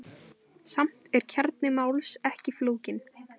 Samt er kjarni máls ekki flókinn.